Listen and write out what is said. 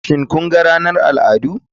Shin kun ga ranar al'adu.